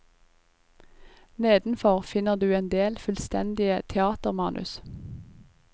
Nedenfor finner du en del fullstendige teatermanus.